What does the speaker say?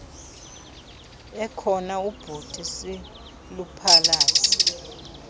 ekhona ubhuti siluphalaze